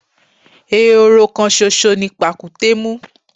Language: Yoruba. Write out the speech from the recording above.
Ehoro kan ṣoṣo ni pàkúté mú.